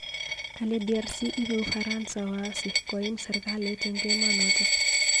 Kale DRC ibei ufaransa waasi koim serkalit eng emenoto